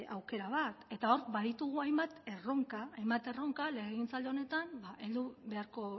aukera bat eta hor baditugu hainbat erronka legegintzaldi honetan heldu beharko